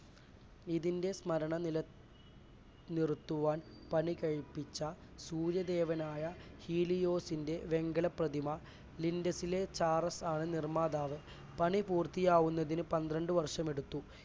ഇതിൻറെ സ്മരണ നില നിർത്തുവാൻ പണി കഴിപ്പിച്ച സൂര്യദേവനായ ഹീലിയോസിന്റെ വെങ്കല പ്രതിമ ലിൻറ്റസിലെ സാറസ് ആണ് നിർമ്മാതാവ്. പണി പൂർത്തിയാവുന്നതിന് പന്ത്രണ്ട് വർഷമെടുത്തു.